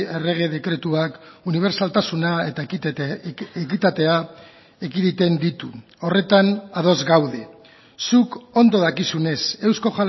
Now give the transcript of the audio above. errege dekretuak unibertsaltasuna eta ekitatea ekiditen ditu horretan ados gaude zuk ondo dakizunez eusko